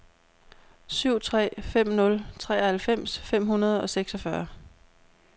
syv tre fem nul treoghalvfems fem hundrede og seksogfyrre